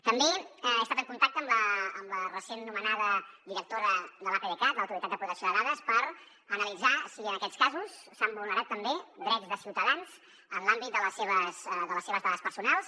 també he estat en contacte amb la recent nomenada directora de l’apdcat l’autoritat de protecció de dades per analitzar si en aquests casos s’han vulnerat també drets de ciutadans en l’àmbit de les seves dades personals